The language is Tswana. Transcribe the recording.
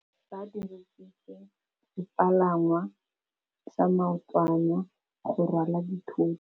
Ba dirisitse sepalangwasa maotwana go rwala dithôtô.